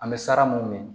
An bɛ sara mun